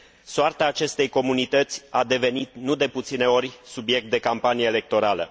Soarta acestei comunități a devenit, nu de puține ori, subiect de campanie electorală.